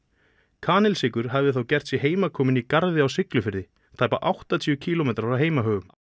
kanilsykur hafði þá gert sig heimakominn í garði á Siglufirði tæpa áttatíu kílómetra frá heimahögum